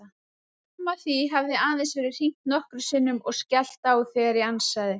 Fram að því hafði aðeins verið hringt nokkrum sinnum og skellt á þegar ég ansaði.